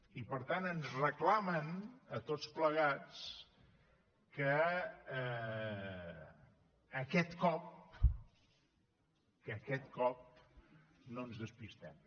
i per tant ens reclamen a tots plegats que aquest cop que aquest cop no ens despistem